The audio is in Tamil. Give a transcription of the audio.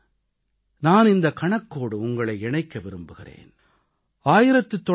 இப்போது நான் இந்தக் கணக்கோடு உங்களை இணைக்க விரும்புகிறேன்